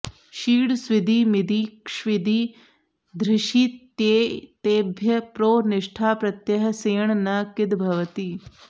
शीङ् स्विदि मिदि क्ष्विदि धृषित्येतेभ्यः प्रो निष्ठाप्रत्ययः सेण् न किद् भवति